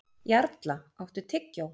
Jarla, áttu tyggjó?